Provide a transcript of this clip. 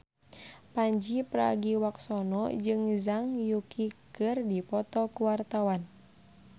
Pandji Pragiwaksono jeung Zhang Yuqi keur dipoto ku wartawan